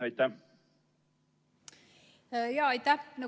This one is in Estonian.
Aitäh!